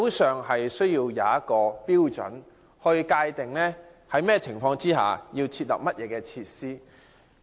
需要訂立標準及界定在甚麼情況下應該設立甚麼設施。